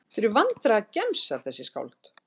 Þið eruð vandræðagemsar þessi skáld.